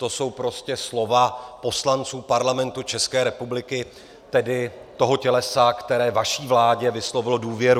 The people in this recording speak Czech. To jsou prostě slova poslanců Parlamentu České republiky, tedy toho tělesa, které vaší vládě vyslovilo důvěru.